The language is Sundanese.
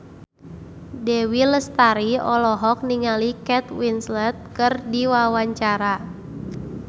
Dewi Lestari olohok ningali Kate Winslet keur diwawancara